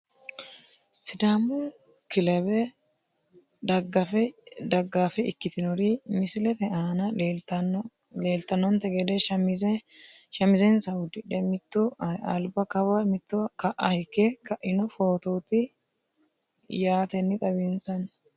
Sidaamu kelebe dagaafe ikitinori misilete aana leeltanonte gede shamizensa udidhe mitu alba kawa mittu ka`a higge kaino fotooti yaaten Xawinsani.